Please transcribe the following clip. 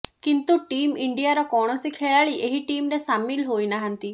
କିନ୍ତୁ ଟିମ୍ ଇଣ୍ଡିଆର କୌଣସି ଖେଳାଳି ଏହି ଟିମ୍ରେ ସାମିଲ ହୋଇନାହାଁନ୍ତି